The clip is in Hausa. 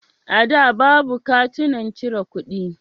A da, babu katunan cire kuɗi.